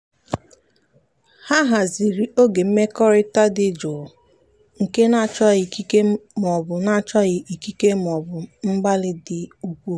ha haziri oge mmekọrịta dị jụụ nke na-achọghị ikike maọbụ na-achọghị ikike maọbụ mgbalị dị ukwuu.